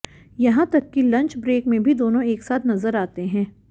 यहां तक कि लंच ब्रेक में भी दोनों एक साथ नजर आते हैं